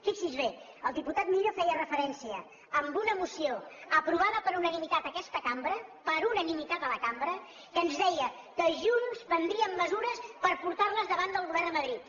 fixi’s bé el diputat millo feia referència a una moció aprovada per unanimitat en aquesta cambra per unanimitat a la cambra que ens deia que junts prendríem mesures per portar les davant del govern a madrid